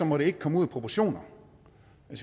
må det ikke komme ud af proportioner